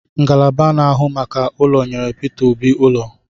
Ngalaba na-ahụ maka ụlọ nyere Prof Obi ụlọ